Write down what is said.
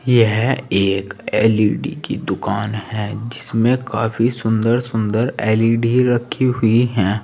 यह एक एल_इ_डी की दुकान है जिसमें काफी सुंदर सुंदर एल_ई_डी रखी हुई हैं।